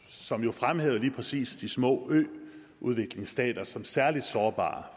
som jo fremhævede lige præcis de små øudviklingsstater som særlig sårbare